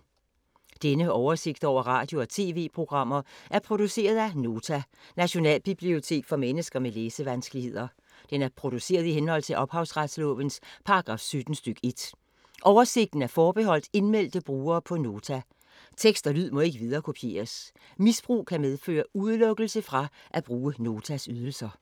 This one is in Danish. Denne oversigt over radio og TV-programmer er produceret af Nota, Nationalbibliotek for mennesker med læsevanskeligheder. Den er produceret i henhold til ophavsretslovens paragraf 17 stk. 1. Oversigten er forbeholdt indmeldte brugere på Nota. Tekst og lyd må ikke viderekopieres. Misbrug kan medføre udelukkelse fra at bruge Notas ydelser.